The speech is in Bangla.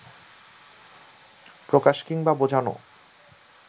প্রকাশ কিংবা বোঝানো